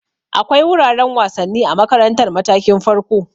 Akwai wuraren wasanni a makarantar matakin farko.